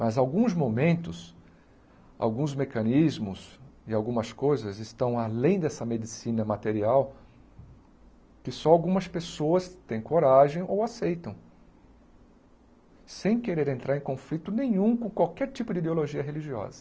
Mas alguns momentos, alguns mecanismos e algumas coisas estão além dessa medicina material que só algumas pessoas têm coragem ou aceitam, sem querer entrar em conflito nenhum com qualquer tipo de ideologia religiosa.